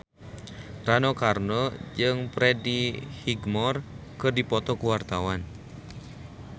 Rano Karno jeung Freddie Highmore keur dipoto ku wartawan